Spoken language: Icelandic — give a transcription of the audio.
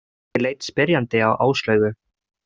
Ég leit spyrjandi á Áslaugu.